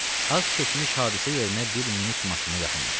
Az keçmiş hadisə yerinə bir minik maşını yaxınlaşdı.